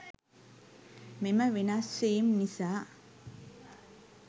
මෙම වෙනස් වීම් නිසා